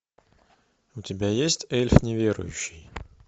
у тебя есть эльф неверующий